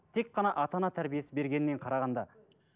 тек қана ата ана тәрбиесі бергеннен қарағанда